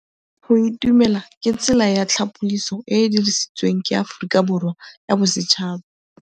Go itumela ke tsela ya tlhapolisô e e dirisitsweng ke Aforika Borwa ya Bosetšhaba.